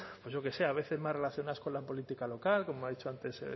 pues yo qué sé a veces más relacionadas con la política local como ha dicho antes